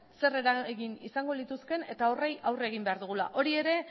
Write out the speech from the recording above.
zer eragin izango lituzkeen ere eta horri aurre egin behar dugula hori ere